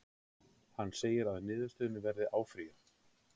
Hann segir að niðurstöðunni verði áfrýjað